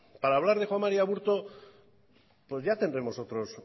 para hablar de juan mari aburto ya tendremos